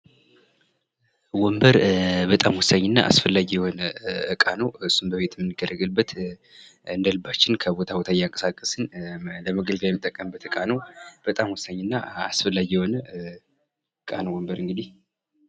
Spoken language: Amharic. ወንበር በጣም ወሳኝና አስፈላጊ የሆነ እቃ ነው ።እሱም እንደልባችን ከቦታ ቦታ እንቀሳቀስን ለመገልገያ የምንጠቀምበት እቃ ነው ።በጣም ወሳኝ እና አስፈላጊ የሆነ እቃ ነው። እንግዲህ ወንበር